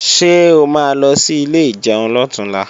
Ṣé o ma lọ sí ilé ìjẹun lọ̀túnla?